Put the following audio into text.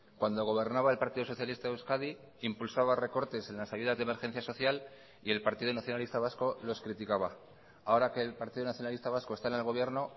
cuando gobernaba el partido socialista de euskadi impulsaba recortes en las ayudas de emergencia social y el partido nacionalista vasco los criticaba ahora que el partido nacionalista vasco está en el gobierno